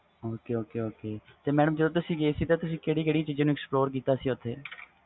ok ok madam ਜਦੋ ਤੁਸੀ ਗੇ ਸੀ ਓਥੇ ਤੁਸੀ ਕਿਹੜੀ ਕਿਹੜੀ ਜਗ੍ਹਾ ਨੂੰ explore ਕੀਤਾ ਸੀ